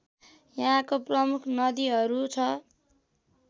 यहाँको प्रमुख नदीहरू छ